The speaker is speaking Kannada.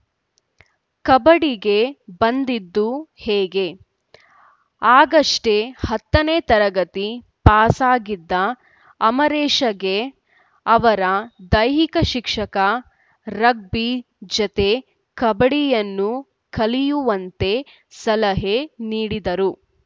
ಕಬಡ್ಡಿಗೆ ಬಂದಿದ್ದು ಹೇಗೆ ಆಗಷ್ಟೇ ಹತ್ತನೇ ತರಗತಿ ಪಾಸಾಗಿದ್ದ ಅಮರೇಶ್‌ಗೆ ಅವರ ದೈಹಿಕ ಶಿಕ್ಷಕ ರಗ್ಬಿ ಜತೆ ಕಬಡ್ಡಿಯನ್ನೂ ಕಲಿಯುವಂತೆ ಸಲಹೆ ನೀಡಿದರು